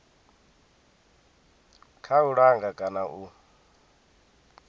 kha u langa kana u